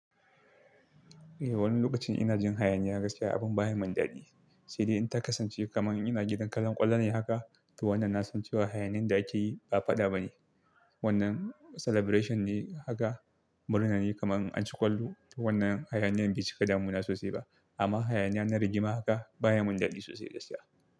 Eh, wani lokacin ina jin hayaniya gaskiya abin baya mun dadi. Sai dai in ta kasance kamar ina gidan kallon ƙwallo ne haka, to wannan na san cewa hayaniyen da ake yi ba fada ba ne. Wannan celebration ne haka murna ne kamar an ci kwallo. Wannan hayaniyen bai cika damuna sosai ba. Amma hayaniya na rigima haka baya mun dadi sosai gaskiya.